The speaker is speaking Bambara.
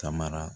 Ka mara